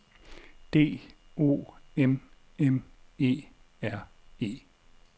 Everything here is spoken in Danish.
D O M M E R E